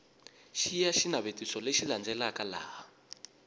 xiya xinavetiso lexi landzelaka laha